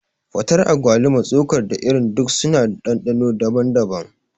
Fatar agwaluma, tsokar, da irin duk suna da ɗanɗano daban-daban.